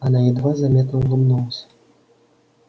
она едва заметно улыбнулась